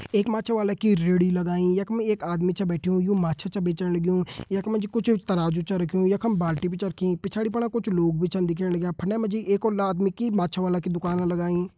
एक माछा वाला कि रेडी लगाईं एक आदमी छा बैठ्युं यु माछा छा बेचण लग्युं यख मा जी कुछ तराजू छा रख्युं यखम बाल्टी भी छा रखीं पिछाड़ी फणा कुछ लोग भी छन दिखेण लग्यां फंडे मा जी एक और आदमी की माछा वाला की दुकान लगाईं।